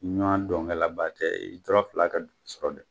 Ɲɔn dɔnkɛlaba tɛ i tɔrɔ fila ka dugu sɔrɔ de